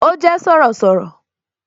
Ó jé Sọ̀rọ̀sọ̀rọ̀